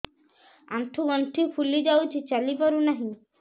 ଆଂଠୁ ଗଂଠି ଫୁଲି ଯାଉଛି ଚାଲି ପାରୁ ନାହିଁ